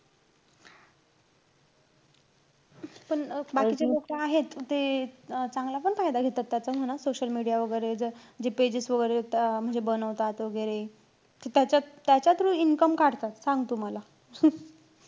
पण अं बाकीचे लोकं आहेत. ते अं चांगला पण फायदा घेतात त्याचा म्हणा social media वैगेरे. जर जे pages वैगेरे येता म्हणजे बनवतात वैगेरे. त्याच्या~ त्याच्या through income काढतात. सांग तू मला.